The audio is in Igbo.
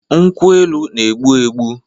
Nkwu-elu n'egbu -egbu